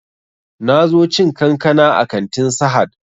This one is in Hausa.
Na zo cin kankana a kantin sahad